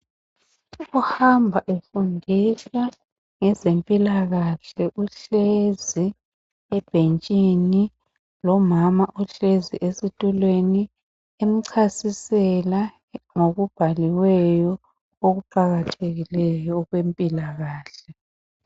Ohamba efundisa ngezempilakahle uhlezi ebhentshini lomama ohlezi esitulweni emchasisela ngokubhaliweyo okuqakathekileyo okwempilakahle.